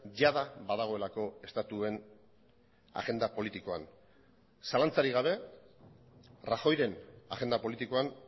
jada badagoelako estatuen agenda politikoan zalantzarik gabe rajoyren agenda politikoan